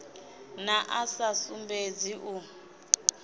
na a sa sumbedzi u